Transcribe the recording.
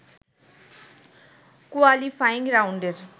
qualifying রাউন্ডের